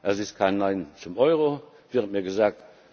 Es ist kein Nein zum Euro, wird mir gesagt.